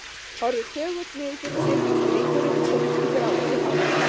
Horfir þögull niður fyrir sig og strýkur yfir tungl í gráleitu hári.